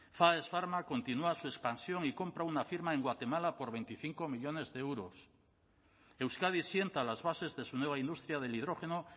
faes farma continúa su expansión y compra una firma en guatemala por veinticinco millónes de euros euskadi sienta las bases de su nueva industria del hidrógeno